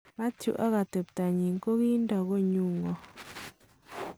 "Mathew ak atebta nyin ko kindo konyun 'ngo